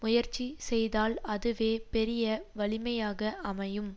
முயற்சி செய்தால் அதுவே பெரிய வலிமையாக அமையும்